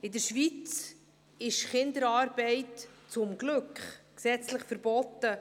In der Schweiz ist Kinderarbeit – zum Glück! – gesetzlich verboten.